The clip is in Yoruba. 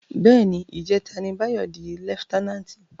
Bè ni, ijètá ni Bayo di lèfitènánti